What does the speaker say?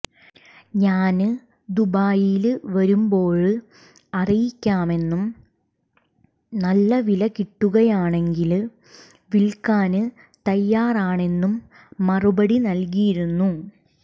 ഞാന് ദുബായില് വരുമ്പോള് അറിയിക്കാമെന്നും നല്ല വില കിട്ടുകയാണെങ്കില് വില്ക്കാന് തയാറാണെന്നും മറുപടി നല്കിയിരുന്നു